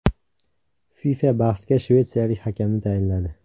FIFA bahsga shvetsiyalik hakamni tayinladi.